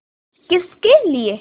किसके लिए